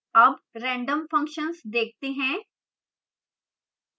अब random functions देखते हैं